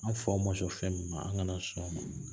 An faw ma sɔn fɛn min ma an kana sɔn o ma